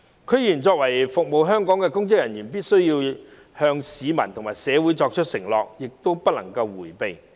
區議員作為服務香港的公職人員，必須向市民和社會作出承諾，亦不能迴避。